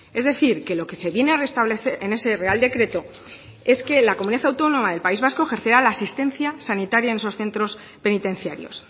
es decir que lo que se viene a restablecer en ese real decreto es que la comunidad autónoma del país vasco ejercerá la asistencia sanitaria en esos centros penitenciarios